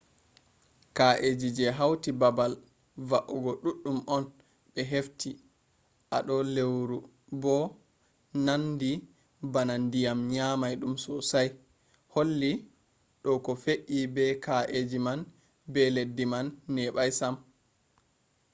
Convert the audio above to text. ka’eji je hauti baabal va’ugo duddum on be hefti a do leuru bo nandi bana dyam nyamai dum sosai holli do ko fe’i be ka’eji man be leddi man nebai sam